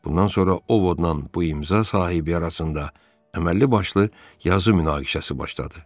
Bundan sonra Ovodla bu imza sahibi arasında əməlli başlı yazı münaqişəsi başladı.